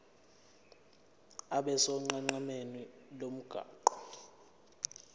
abe sonqenqemeni lomgwaqo